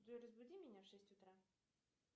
джой разбуди меня в шесть утра